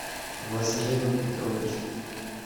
вазгеном петровичем